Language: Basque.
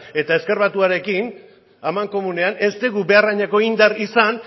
eta ezker batuarekin amankomunean ez dugu behar hainako indar izan